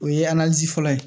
O ye fɔlɔ ye